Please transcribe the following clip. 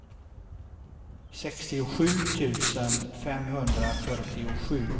sextiosju tusen femhundrafyrtiosju